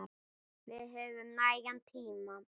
Við höfum nægan tíma.